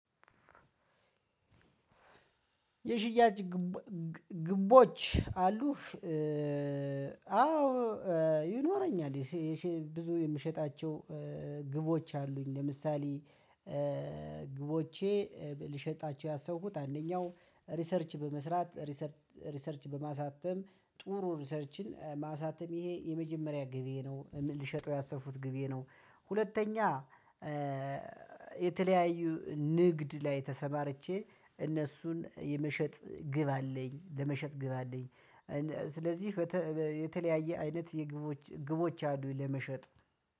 የሽያጭ ግቦ ግቦች አሉህ? አዎ ይኖረኛል የሴ የሴ ብዙ የምሸጣቸው ግቦች አሉኝ። ለምሳሌ ግቦቼ ልሸጣቸው ያሰብኩት አንደኛው ሪሰርች በመስራት ሪሰርች ሪሰርች በማሳተም ጥሩ ሪሰርችን ማሳተም ይሄ የመጀመሪያ ግቤ ነው። ልሸጠው ያሰፉት ግቤ ነው። ሁለተኛ የተለያዩ ንግድ ላይ ተሰማርቼ እነሱን የመሸጥ ግብ አለኝ ለመሸጥ ግብ አለኝ። ስለዚህ በተ የተለያየ አይነት የግብዎች ግቦች አሉ ለመሸጥ